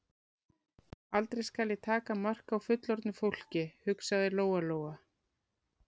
Aldrei skal ég taka mark á fullorðnu fólki, hugsaði Lóa Lóa.